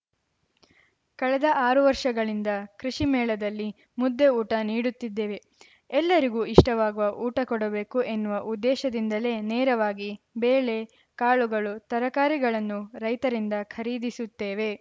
ಕಳೆದ ಆರು ವರ್ಷಗಳಿಂದ ಕೃಷಿ ಮೇಳದಲ್ಲಿ ಮುದ್ದೆ ಊಟ ನೀಡುತ್ತಿದ್ದೇವೆ ಎಲ್ಲರಿಗೂ ಇಷ್ಟವಾಗುವ ಊಟ ಕೊಡಬೇಕು ಎನ್ನುವ ಉದ್ದೇಶದಿಂದಲೇ ನೇರವಾಗಿ ಬೇಳೆ ಕಾಳುಗಳು ತರಕಾರಿಗಳನ್ನು ರೈತರಿಂದ ಖರೀದಿಸುತ್ತೇವೆ